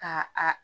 Ka a